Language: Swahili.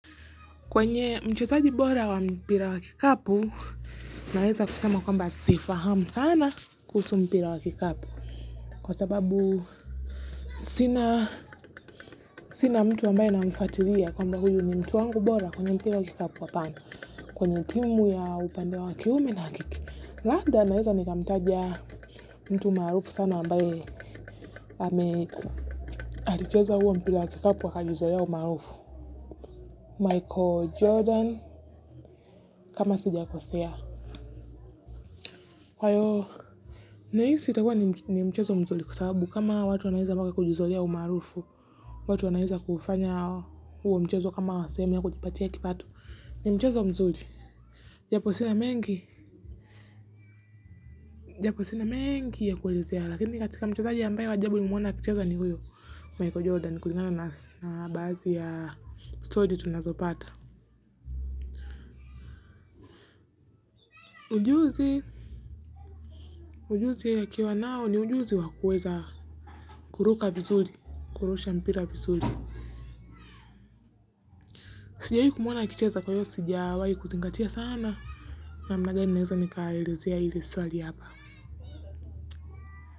Kwenye mchezaji bora wa mpira wa kikapu, naeza kusema kwamba sifahamu sana kuhusu mpira wa kikapu. Kwa sababu sina mtu ambaye namfatilia kwamba huyu ni mtu wangu bora kwenye mpira wa kikapu hapana. Kwenye timu ya upande wa kiume na kiki. Labda naeza nikamtaja mtu maarufu sana ambaye ame alicheza huo mpira wa kikapu akalizoea umaarufu. Michael Jordan kama sijakosea. Kwa hiyo, naisi itakua ni mchezo mzuli kusabu kama watu wanahiza mwaka kujuzolia umarufu, watu wanahiza kufanya huo mchezo kama semu ya kujipatia kipatu, ni mchezo mzuli. Japo sinamengi, japo sinamengi ya kuwelezea, lakini katika mchezo aji ambayo ajabu ni mwona kicheza ni huyo, Michael Jordan, kuligana na bazi ya story tunazopata. Ujuzi, ujuzi ya kiawa nao ni ujuzi wa kuweza kuruka vizuli, kurusha mpira vizuli. Sijawi kumwona akicheza kwayo sijawi kuzingatia sana. Na mnagani neza ni kaerezea hile swali yapa.